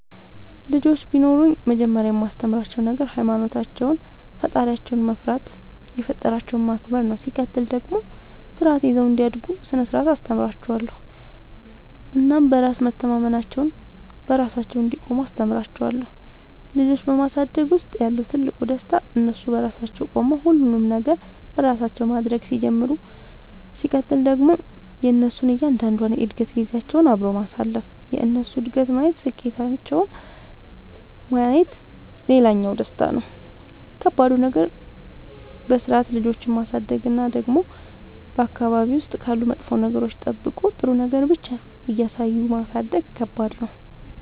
ልጆች ቢኖሩኝ መጀመሪያ የማስተምራቸዉ ነገር ሃይማኖታቸውን ፈጣሪያቸውን መፍራት የፈጠራቸውን ማክበር ነው ሲቀጥል ደግሞ ስርዓት ይዘው እንዲያድጉ ስነ ስርዓት አስተምራችኋለሁ እናም በራስ መተማመናቸውን, በራሳቸው እንዲቆሙ አስተምራቸዋለሁ። ልጆች በማሳደግ ውስጥ ያለው ትልቁ ደስታ እነሱ በራሳቸው ቆመው ሁሉንም ነገር በራሳቸው ማድረግ ሲጀምሩ ሲቀጥል ደግሞ የእነሱን እያንዳንዷን የእድገት ጊዜያቸውን አብሮ ማሳለፍ የእነሱን እድገት ማየት ስኬታቸውን ማየት ሌላኛው ደስታ ነው። ከባዱ ነገር በስርዓት ልጆችን ማሳደግ እና ደግሞ በአካባቢ ውስጥ ካሉ መጥፎ ነገሮች ጠብቆ ጥሩ ነገር ብቻ እያሳዩ ማሳደግ ከባድ ነው።